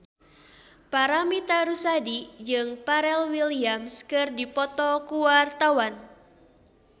Paramitha Rusady jeung Pharrell Williams keur dipoto ku wartawan